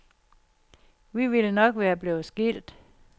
Vi ville nok være blevet skilt.